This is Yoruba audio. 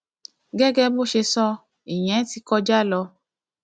gẹgẹ bó ṣe sọ ìyẹn ti kọjá lọ